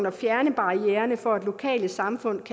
at fjerne barriererne for at lokale samfund